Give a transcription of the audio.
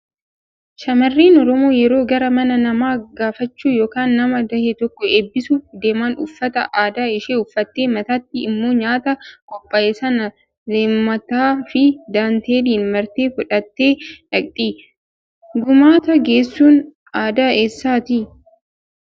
Shamarreen oromoo yeroo gara mana namaa gaafachuu yookaan nama dahe tokko eebbisuuf deeman uffata aadaa ishee uffattee mataatti immoo nyaata qophaa'e sana leemataa fi daanteeliin martee fudhattee dhaqxi. Gumaata geessuun aadaa eessaati?